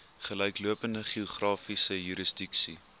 gelyklopende geografiese jurisdiksie